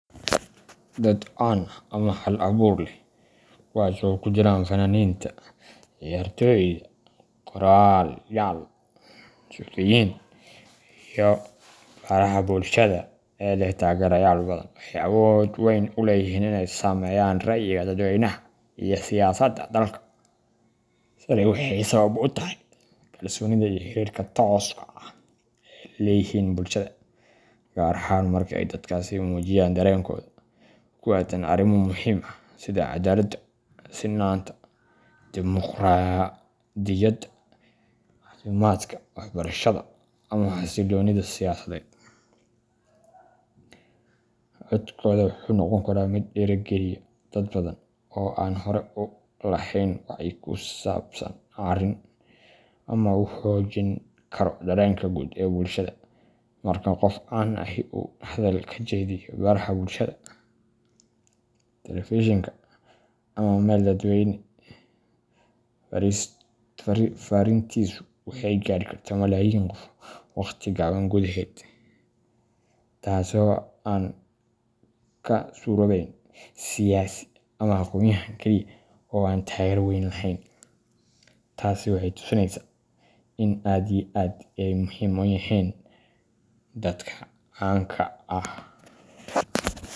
Dad caan ah ama hal abuur leh kuwaas oo ay ku jiraan fanaaniinta, ciyaartooyda, qorayaal, suxufiyiin, iyo baraha bulshada ee leh taageerayaal badan waxay awood weyn u leeyihiin inay saameeyaan rayiga dadweynaha iyo siyaasadda dalka. Tani waxay sabab u tahay kalsoonida iyo xiriirka tooska ah ee ay la leeyihiin bulshada, gaar ahaan marka ay dadkaasi muujiyaan dareenkooda ku aaddan arrimo muhiim ah sida cadaaladda, sinnaanta, dimuqraadiyadda, caafimaadka, waxbarashada, ama xasilloonida siyaasadeed. Codkooda wuxuu noqon karaa mid dhiirrigeliya dad badan oo aan hore u lahayn wacyi ku saabsan arrin, ama uu xoojin karo dareenka guud ee bulshada. Marka qof caan ahi uu hadal ka jeediyo baraha bulshada, telefishinka ama meel dadweyne, farriintiisu waxay gaari kartaa malaayiin qof waqti gaaban gudaheed, taasoo aan ka suuroobayn siyaasi ama aqoonyahan kaliya oo aan taageero weyn lahayn. Tasi waxay tu sinesa in aad iyo aad ay muhim u yihin dadka canka ah.